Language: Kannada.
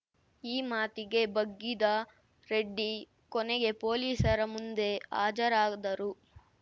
ಈ ಮಾತಿಗೆ ಬಗ್ಗಿದ ರೆಡ್ಡಿ ಕೊನೆಗೆ ಪೊಲೀಸರ ಮುಂದೆ ಹಾಜರಾದರು